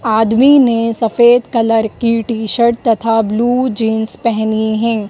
आदमी ने सफेद कलर की टी शर्ट तथा ब्लू जींस पेहनी है।